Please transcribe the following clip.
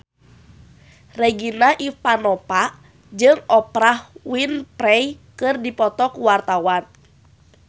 Regina Ivanova jeung Oprah Winfrey keur dipoto ku wartawan